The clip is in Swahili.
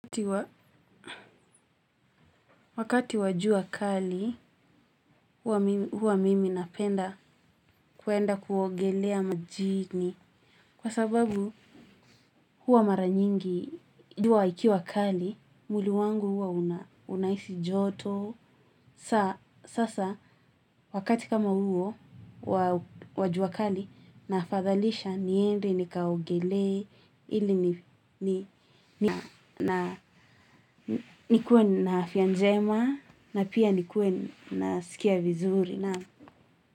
Wakati wajua kali huwa mimi napenda kuenda kuogelea majini kwa sababu huwa maranyingi juwa ikiwa kali muili wangu huwa unaisi joto saa sasa wakati kama huo kwa jua kali nafadhalisha niendi nikaogelee ili nikuwe na afya njema na pia nikuwe nasikia vizuri, naam.